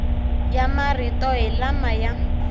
ya marito hi lama ya